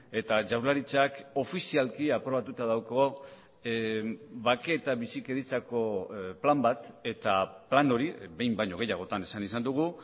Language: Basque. eta jaurlaritzak ofizialki aprobatuta dauka bake eta bizikidetzako plan bat eta plan hori behin baino gehiagotan esan izan dugu